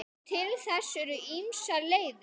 Til þess eru ýmsar leiðir.